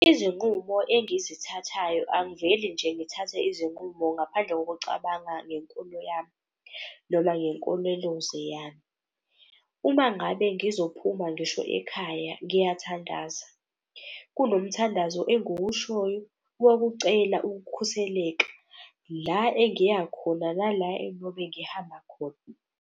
Izinqumo engizithathayo, angiveli nje ngithathe izinqumo. Ngaphandle ngokucabanga ngenkolo yami noma ngenkoleloze yami. Uma ngabe ngizophuma ngisho ekhaya ngiyathandaza, kulo mthandazo engukushoyo. Kokucela ukukhuseleka la engiya khona nala engiyobe ngihamba khona.